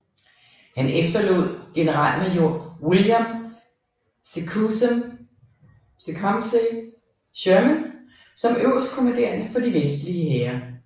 Han efterlod generalmajor William Tecumseh Sherman som øverstkommanderende for de vestlige hære